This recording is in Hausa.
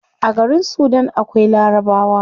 A garin sudan akwai larabawa